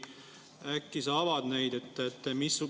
Äkki sa avad neid?